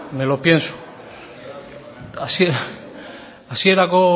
me lo pienso hasierako